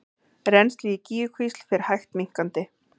Rennsli í Gígjukvísl fer hægt minnkandi